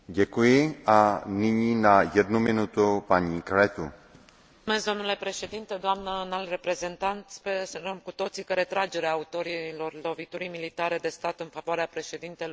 Sperăm cu toții că retragerea autorilor loviturii militare de stat în favoarea președintelui Adunării Naționale pune capăt parantezei antidemocratice în care Mali a intrat după puciul din 22 martie.